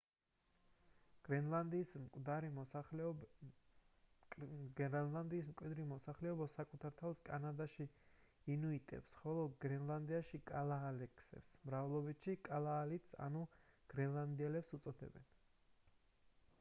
გრენლანდიის მკვიდრი მოსახლეობა საკუთარ თავს კანადაში ინუიტებს ხოლო გრენლანდიაში — კალაალექს მრავლობითში — კალაალიტ ანუ გრენლანდიელს უწოდებენ